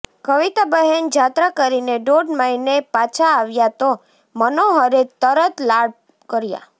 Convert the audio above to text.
કવિતાબહેન જાત્રા કરીને દોઢ મહિને પાછાં આવ્યાં તો મનોહરે તરત લાડ કર્યા